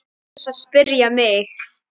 Án þess að spyrja mig?